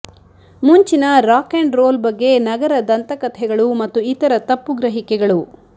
ಮುಂಚಿನ rock and roll ಬಗ್ಗೆ ನಗರ ದಂತಕಥೆಗಳು ಮತ್ತು ಇತರ ತಪ್ಪು ಗ್ರಹಿಕೆಗಳು